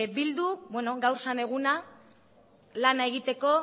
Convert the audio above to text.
bildu beno gaur zen eguna lana egiteko